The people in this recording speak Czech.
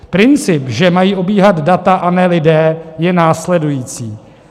Princip, že mají obíhat data, a ne lidé, je následující.